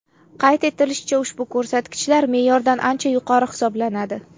Qayd etilishicha, ushbu ko‘rsatkichlar me’yordan ancha yuqori hisoblanadi.